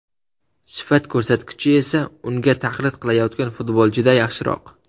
Sifat ko‘rsatkichi esa unga taqlid qilayotgan futbolchida yaxshiroq.